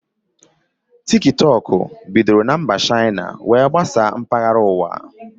Tiktọk bidoro na mba Shaina were gbasaa mkpahara ụwa